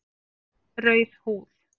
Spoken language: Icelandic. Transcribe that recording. Rauð húð